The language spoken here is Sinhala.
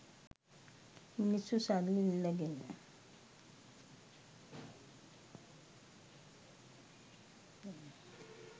මිනිස්‌සු සල්ලි ඉල්ලගෙන